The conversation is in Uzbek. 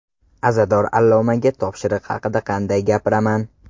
Azador allomaga topshiriq haqida qanday gapiraman?